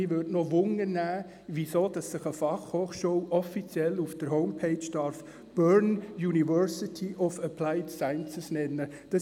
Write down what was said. Mich interessiert, weshalb sich eine Fachhochschule offiziell auf der Homepage «Bern University of Applied Sciences» nennen darf.